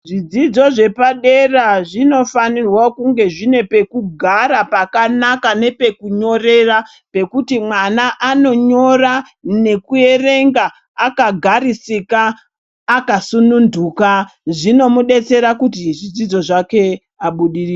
Zvidzidzo zvepadera zvinofanirwa kunge zvine pekugara pakanaka nepekunyorera pekuti mwana anonyora nekuerenga akagarisika, akasununduka. Zvinomubetsera kuti zvidzidzo zvake abudirire.